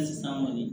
san kɔni